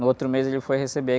No outro mês ele foi receber.